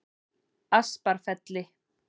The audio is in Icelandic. Asparfelli